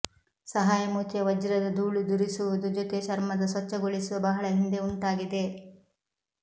ಸಹಾಯ ಮೂತಿಯ ವಜ್ರದ ಧೂಳುದುರಿಸುವುದು ಜೊತೆ ಚರ್ಮದ ಸ್ವಚ್ಛಗೊಳಿಸುವ ಬಹಳ ಹಿಂದೆ ಉಂಟಾಗಿದೆ